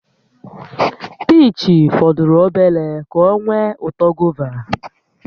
Piich fọdụrụ obere ka ọ nwee uto gova